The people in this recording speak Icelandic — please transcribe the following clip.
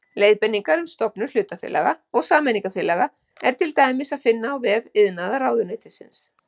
Leiðbeiningar um stofnun hlutafélaga og sameignarfélaga er til dæmis að finna á vef iðnaðarráðuneytisins.